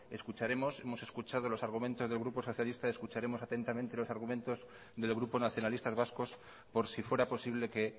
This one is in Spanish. hemos escuchado los argumentos del grupo socialista escucharemos atentamente los argumentos del grupo nacionalistas vascos por si fuera posible que